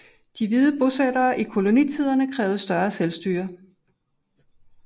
De hvide bosættere i kolonierne krævede større selvstyre